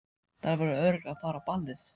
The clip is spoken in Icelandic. Þær voru örugglega að fara á ballið.